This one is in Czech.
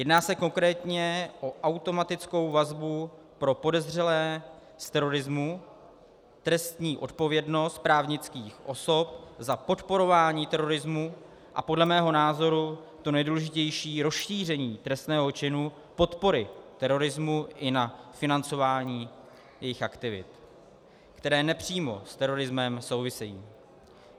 Jedná se konkrétně o automatickou vazbu pro podezřelé z terorismu, trestní odpovědnost právnických osob za podporování terorismu a podle mého názoru to nejdůležitější - rozšíření trestného činu podpory terorismu i na financování jejich aktivit, které nepřímo s terorismem souvisejí.